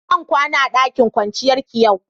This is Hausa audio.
Zan kwana a dakin kwanciyan ki yau.